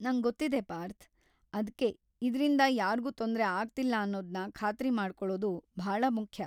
ನಂಗೊತ್ತಿದೆ ಪಾರ್ಥ್‌, ಅದ್ಕೇ ಇದ್ರಿಂದ ಯಾರ್ಗೂ ತೊಂದ್ರೆ ಆಗ್ತಿಲ್ಲ ಅನ್ನೋದ್ನ ಖಾತ್ರಿ ಮಾಡ್ಕೊಳೋದು ಭಾಳ ಮುಖ್ಯ.